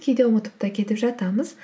кейде ұмытып та кетіп жатамыз